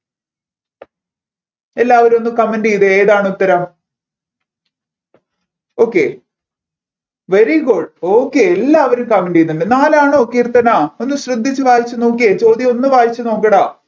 എല്ലാവരും ഒന്ന് comment ചെയ്തേ ഏതാണ് ഉത്തരം okay very goodokay എല്ലാവരും comment ചെയ്യുന്നുണ്ട് നാലാണോ കീർത്തന ഒന്ന് ശ്രദ്ധിച്ച് വായിച്ച് നോക്കിയേ ചോദ്യം ഒന്ന് വായിച്ചു നോക്കടാ